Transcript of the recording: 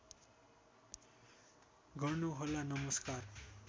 गर्नु होला नमस्कार